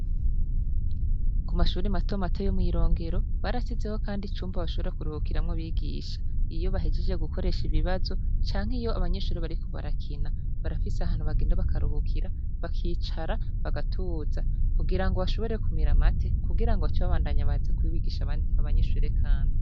Ku mashure matomato yo mw'irongero barashizeho kandi icumba bashobora kuruhukiramwo abigisha. Iyo bahejeje gukoresha ibibazo canke iyo abanyeshure bariko barakina. Barafise ahantu bagenda bakaruhukira bakicara bagatuza kugirango bashobore kumira amate kugirango bace babandanya baze kubigisha abanyeshure kandi.